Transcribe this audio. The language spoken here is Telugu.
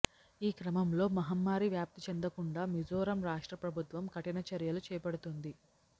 ఈ క్రమంలో మహమ్మారి వ్యాప్తి చెందకుండా మిజోరం రాష్ట్ర ప్రభుత్వం కఠిన చర్యలు చేపడుతోంది